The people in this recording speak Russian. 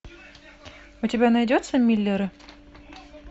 у тебя найдется миллеры